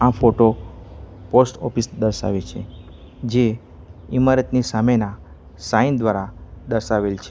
Photo post office દર્શાવે છે જે ઇમારતની સામેના સાઈન દ્વારા દર્શાવેલ છે.